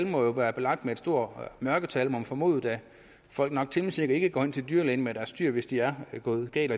må være belagt med store mørketal må man formode da folk nok temmelig sikkert ikke går til dyrlægen med deres dyr hvis det er gået galt